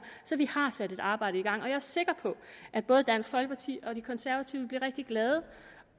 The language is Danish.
så vi har sat et arbejde i gang jeg er sikker på at både dansk folkeparti og de konservative bliver rigtig glade